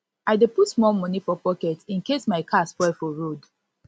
i dey put small moni for pocket incase my car spoil for road